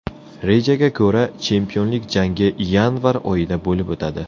Rejaga ko‘ra, chempionlik jangi yanvar oyida bo‘lib o‘tadi.